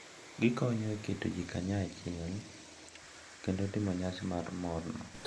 Gikonyo e keto ji kanyachiel kendo timo nyasi mar morno.